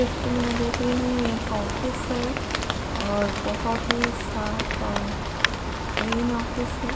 जैसे कि मैं यहाँ पर देख रही हूँ यह एक ऑफिस है और बहुत ही साफ क्लीन ऑफिस है।